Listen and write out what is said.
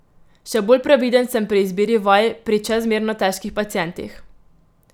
Še bolj previden sem pri izbiri vaj pri čezmerno težkih pacientih.